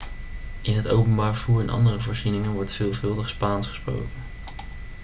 in het openbaar vervoer en andere voorzieningen wordt wel veelvuldig spaans gesproken